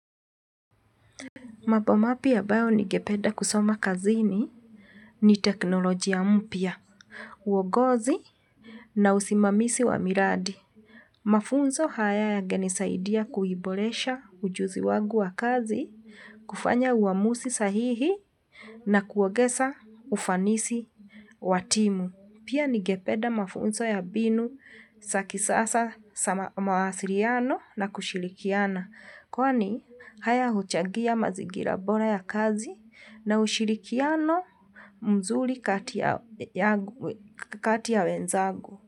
Mambo mapya ambayo ningependa kusoma kazini ni teknolojia mpya, uongozi na usimamizi wa miradi. Mafunzo haya yangenisaidia kuiboresha ujuzi wangu wa kazi, kufanya uamuzi sahihi na kuongeza ufanisi wa timu. Pia ningepeda mafunzo ya mbinu za kisasa za mawasiliano na kushirikiana. Kwani haya huchangia mazingira bora ya kazi na ushirikiano mzuri kati ya wenzagu.